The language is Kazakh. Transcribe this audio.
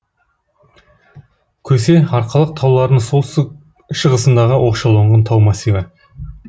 көсе арқалық тауларының солтүстік шығысындағы оқшауланған тау массиві